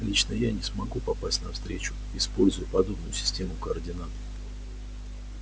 лично я не смогу попасть на встречу используя подобную систему координат